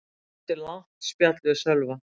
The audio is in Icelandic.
Ég átti langt spjall við Sölva.